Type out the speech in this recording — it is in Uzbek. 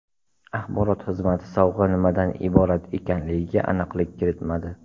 Axborot xizmati sovg‘a nimadan iborat ekanligiga aniqlik kiritmadi.